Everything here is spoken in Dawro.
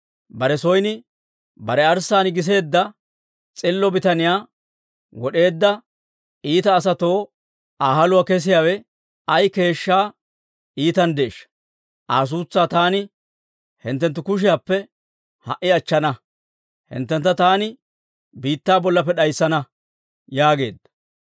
Bare son bare arssaan giseedda s'illo bitaniyaa wod'eedda iita asatoo Aa haluwaa kessiyaawe ay keeshshaa iitanddeeshsha! Aa suutsaa taani hinttenttu kushiyaappe ha"i achchana; hinttentta taani biittaa bollappe d'ayssana!» yaageedda.